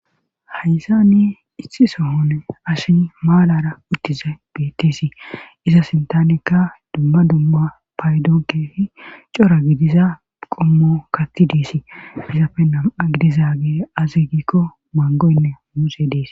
Haysa ni ixi sohone ashin maalara uttiza bettesi iza sintanekka dumma dumma paydonkeefi cora gidiza qommo katti diesi izapfe nama gidiza ge azi giikko mangoynne muuse dees.